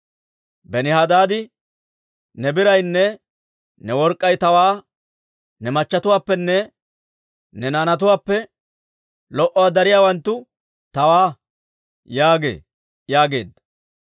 «Benihadaadi, ‹Ne biraynne ne work'k'ay tawaa ne machchetuwaappenne ne naanatuwaappe lo"uwaa dariyaawanttu tawaa› yaagee» yaageedda.